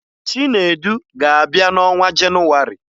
Chinedu ga-abịa n'ọnwa Jenụwarị